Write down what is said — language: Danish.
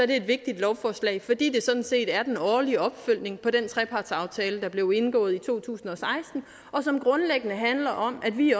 det et vigtigt lovforslag fordi det sådan set er den årlige opfølgning på den trepartsaftale der blev indgået i to tusind og seksten og som grundlæggende handler om at vi